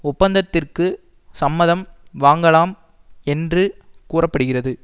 ஒப்பந்தத்திற்கு சம்மதம் வாங்கலாம் என்று கூற படுகிறது